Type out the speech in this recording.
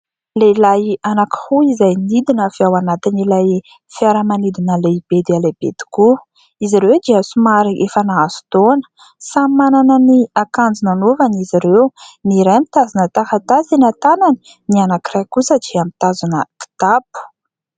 Lehilahy anankiroa izay nidina avy ao anatiny ilay fiaramanidina lehibe dia lehibe tokoa. Izy ireo dia somary efa nahazo taona samy manana ny akanjo nanaovany izy ireo : ny iray mitazona taratasy eny an-tanany, ny anankiray kosa dia mitazona kitapo